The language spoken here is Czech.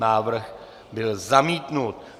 Návrh byl zamítnut.